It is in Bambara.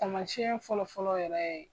Tamasiɲɛn fɔlɔ fɔlɔ yɛrɛ ye